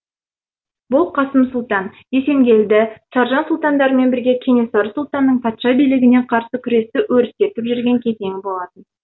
бұл қасым сұлтан есенгелді саржан сұлтандармен бірге кенесары сұлтанның патша билігіне қарсы күресті өрістетіп жүрген кезеңі болатын